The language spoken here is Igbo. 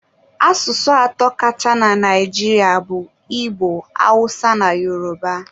Asụsụ atọ kacha na Naijiria bụ Igbo, Awụsa na Yoroba.